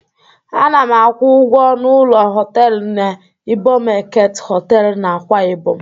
Ana m akwụ ụgwọ ọnụ ụlọ họtelụ n'Ibom Eket Họtelụ dị n'Akwa Ibom.